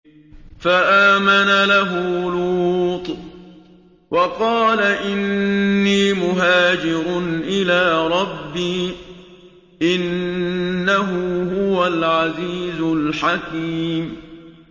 ۞ فَآمَنَ لَهُ لُوطٌ ۘ وَقَالَ إِنِّي مُهَاجِرٌ إِلَىٰ رَبِّي ۖ إِنَّهُ هُوَ الْعَزِيزُ الْحَكِيمُ